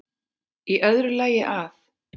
Í öðru lagi að